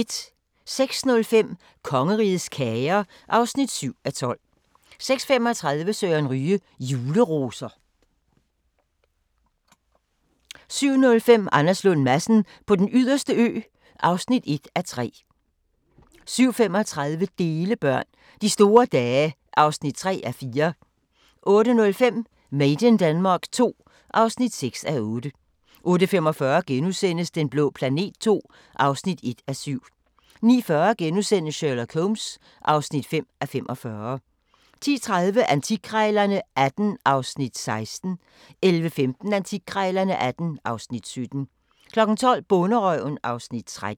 06:05: Kongerigets kager (7:12) 06:35: Søren Ryge: Juleroser 07:05: Anders Lund Madsen på den yderste ø (1:3) 07:35: Delebørn – De store dage (3:4) 08:05: Made in Denmark II (6:8) 08:45: Den blå planet II (1:7)* 09:40: Sherlock Holmes (5:45)* 10:30: Antikkrejlerne XVIII (Afs. 16) 11:15: Antikkrejlerne XVIII (Afs. 17) 12:00: Bonderøven (Afs. 13)